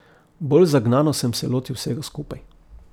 Bolj zagnano sem se lotil vsega skupaj.